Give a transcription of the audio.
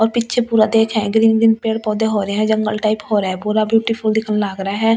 और पीछे पूरा देखे है ग्रीन ग्रीन पेड़ पौधे हो रहे है जंगल टाइप हो रहे है पूरा ब्यूटीफुल दिखने लाग रहा है।